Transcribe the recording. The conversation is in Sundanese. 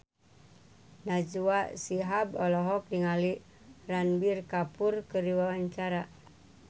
Najwa Shihab olohok ningali Ranbir Kapoor keur diwawancara